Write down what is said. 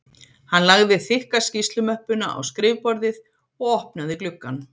Hann lagði þykka skýrslumöppuna á skrifborðið og opnaði gluggann